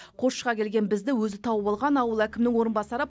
қосшыға келген бізді өзі тауып алған ауыл әкімінің орынбасары